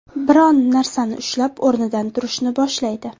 Biron narsani ushlab o‘rnidan turishni boshlaydi.